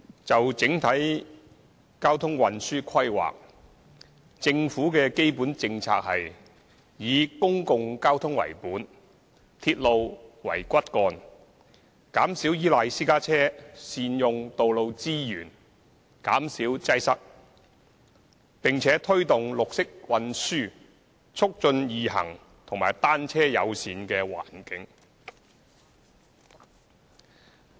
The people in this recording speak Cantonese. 就整體交通運輸規劃，政府的基本政策是：以公共交通為本、鐵路為骨幹；減少依賴私家車，善用道路資源，減少擠塞；並推動綠色運輸、促進易行及"單車友善"的環境。